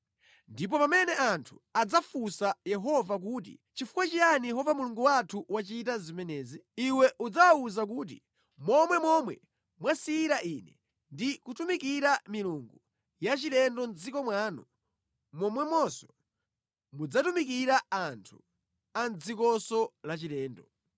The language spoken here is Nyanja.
Ndipo pamene anthu adzafunsa Yehova kuti, “Chifukwa chiyani Yehova Mulungu wathu wachita zimenezi?” Iwe udzawawuze kuti, “Monga momwe mwasiyira Ine ndi kutumikira milungu yachilendo mʼdziko mwanu, momwemonso mudzatumikira anthu a mʼdzikonso lachilendo.”